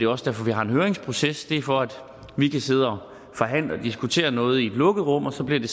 også derfor vi har en høringsproces det er for at vi kan sidde og forhandle om og diskutere noget i et lukket rum og så bliver det